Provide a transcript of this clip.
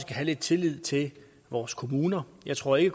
have lidt tillid til vores kommuner jeg tror ikke